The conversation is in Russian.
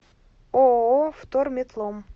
ооо вторметлом